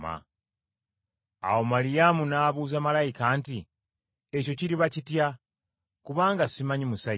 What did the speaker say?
Awo Maliyamu n’abuuza malayika nti, “Ekyo kiriba kitya? Kubanga simanyi musajja.”